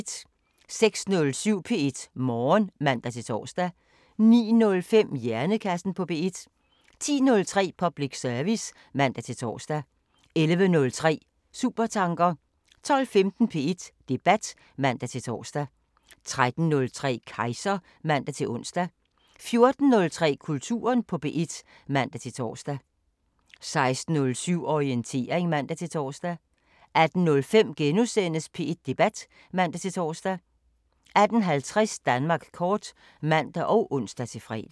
06:07: P1 Morgen (man-tor) 09:05: Hjernekassen på P1 10:03: Public service (man-tor) 11:03: Supertanker 12:15: P1 Debat (man-tor) 13:03: Kejser (man-ons) 14:03: Kulturen på P1 (man-tor) 16:07: Orientering (man-tor) 18:05: P1 Debat *(man-tor) 18:50: Danmark kort (man og ons-fre)